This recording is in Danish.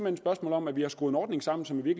et spørgsmål om at vi har skruet en ordning sammen som i